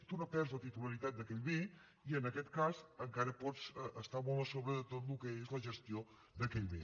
tu no perds la titularitat d’aquell bé i en aquest cas encara pots estar molt a sobre de tot el que és la gestió d’aquell bé